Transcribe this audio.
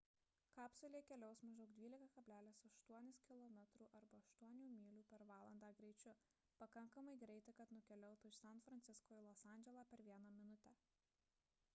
kapsulė keliaus maždaug 12,8 kilometrų arba 8 mylių per valandą greičiu – pakankamai greitai kad nukeliautų iš san francisko į los andželą per vieną minutę